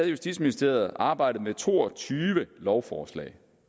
justitsministeriet arbejdet med to og tyve lovforslag